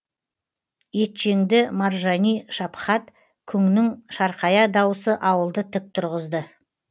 етжеңді маржани шапхат күңнің шарқая дауысы ауылды тік тұрғызды